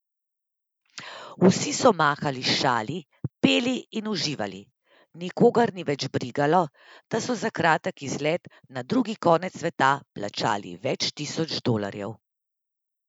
Vsi so mahali s šali, peli in uživali, nikogar ni več brigalo, da so za kratek izlet na drug konec sveta plačali več tisoč dolarjev.